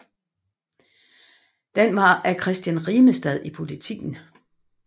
Den var af Christian Rimestad i Politiken